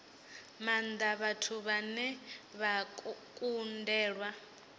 maanda vhathu vhane vha kundelwa